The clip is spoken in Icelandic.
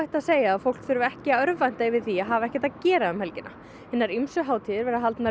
að segja að fólk þurfi ekki að örvænta yfir því að hafa ekkert að gera um helgina hinar ýmsu hátíðir eru haldnar